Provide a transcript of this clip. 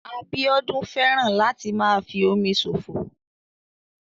Abíọ́dún fẹ́ràn láti máa fi omi ṣòfò